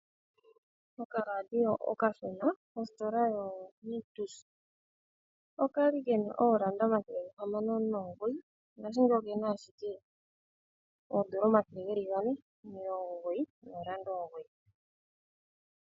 Okaradio okashona mositola yoNictus, okali kena N$609 ngashingeyi okena ashike N$499.